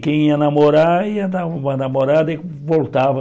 Quem ia namorar, ia dar uma namorada e voltava.